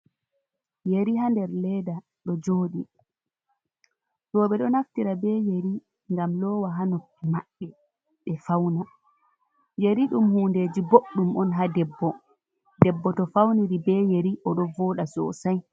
Yeri haa nder leda ɗo joɗi. Ɗo ɓeɗo naftira be yeri ngam lowa haa noppi maɓɓe ɓe fauna. Yeri ɗum hundeji boɗɗum on haa debbo, debbo to fauniri be yeri oɗo voɗa sosai.